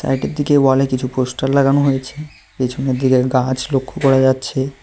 সাইডের দিকে ওয়ালে কিছু পোস্টার লাগানো হয়েছে পেছনের দিকে গাছ লক্ষ্য করা যাচ্ছে।